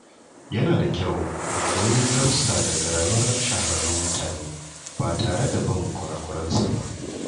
Yana da kyau mu koyi darussa daga rayuwar shahararrun mutane ba tare da bin kura-kuransu ba.